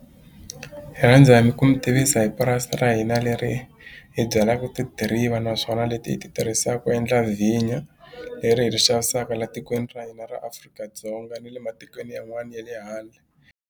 Hi rhandza hi ku mi tivisa hi purasi ra hina leri hi byalaka tidiriva naswona leti hi ti tirhisaka ku endla vhinyo leri hi ri xavisaka la tikweni ra hina ra Afrika-Dzonga ni le matikweni yan'wani ya le handle.